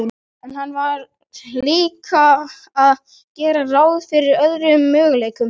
En hann varð líka að gera ráð fyrir öðrum möguleikum.